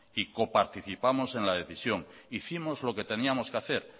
y coparticipamos en la decisión hicimos lo que teníamos que hacer